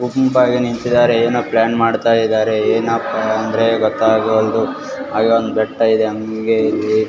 ಗುಂಪಾಗಿ ನಿಂತಿದಾರೆ ಏನೊ ಪ್ಲ್ಯಾನ್ ಮಾಡ್ತಾ ಇದಾರೆ ಏನಪ್ಪ ಅಂದ್ರೆ ಗೊತ್ತಗವಲ್ದು ಅಲ್ಲೊಂದು ಬೆಟ್ಟ ಇದೆ .